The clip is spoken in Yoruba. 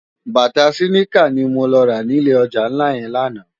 Bàtá siniká ni mó rá ni ilé òjá nlá yèn làná